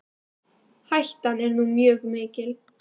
Hættan er nú mjög mikil.